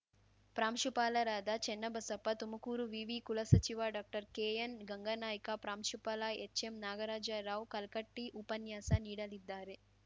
ಪ್ರಾಂಶುಪಾಲರಾದ ಚೆನ್ನಬಸಪ್ಪ ತುಮಕೂರು ವಿವಿ ಕುಲಸಚಿವ ಡಾಕ್ಟರ್ ಕೆಎನ್‌ ಗಂಗಾನಾಯ್ಕ ಪ್ರಾಂಶುಪಾಲ ಎಚ್‌ಎಂ ನಾಗರಾಜ ರಾವ್‌ ಕಲ್ಕಟ್ಟಿಉಪನ್ಯಾಸ ನೀಡಲಿದ್ದಾರೆ